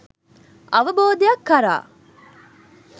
අවබෝධයක් කරා